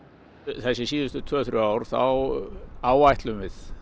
þessi síðustu tvö til þrjú ár þá áætlum við